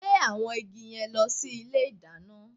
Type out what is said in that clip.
Gbé àwọn igi yẹn lọ sí ilé ìdáná!